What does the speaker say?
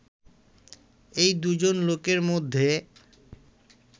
এই দুজন লোকের মধ্যে